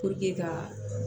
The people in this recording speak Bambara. ka